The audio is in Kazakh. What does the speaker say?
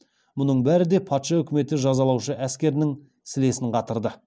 мүның бәрі де патша үкіметі жазалаушы әскерінің сілесін қатырды